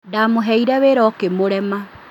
Ndamũheire wĩra ũkmurema